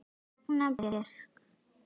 Ragna Björg.